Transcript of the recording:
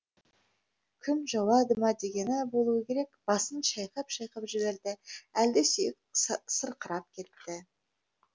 күн жауады ма дегені болуы керек басын шайқап шайқап жіберді әлде сүйегі сырқырап кетті